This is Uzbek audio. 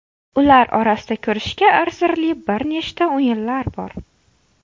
Ular orasida ko‘rishga arzirli bir nechta o‘yinlar bor.